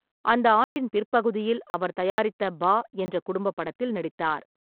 அந்த ஆண்டின் பிற்பகுதியில் அவர் தயாரித்த பா என்ற குடும்ப படத்தில் நடித்தார்.